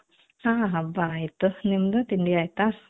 ಹo ಹಬ್ಬ ಆಯ್ತು ನಿಮ್ದು ತಿಂಡಿ ಆಯ್ತಾ